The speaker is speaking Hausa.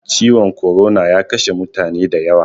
Ciwon korona ya kashe mutane da yawa